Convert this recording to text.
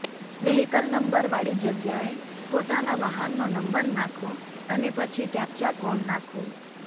vehicle નંબરવાળી જગ્યાએ પોતાના વાહનનો નંબર નાંખો અને પછી કેપ્ચા કોડ નાંખો